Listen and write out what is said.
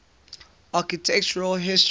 architectural history